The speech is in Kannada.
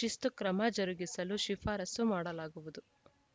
ಶಿಸ್ತುಕ್ರಮ ಜರುಗಿಸಲು ಶಿಫಾರಸ್ಸು ಮಾಡಲಾಗುವುದು